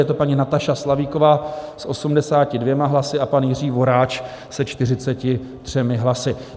Je to paní Nataša Slavíková s 82 hlasy a pan Jiří Voráč se 43 hlasy.